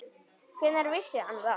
Hvenær vissi hann það?